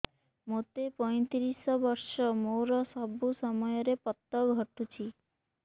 ମୋତେ ପଇଂତିରିଶ ବର୍ଷ ମୋର ସବୁ ସମୟରେ ପତ ଘଟୁଛି